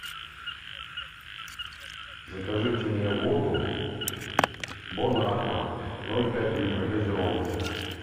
закажите мне воду бон аква ноль пять литра газированная